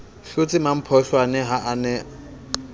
hlotse mmampholwane ha a ne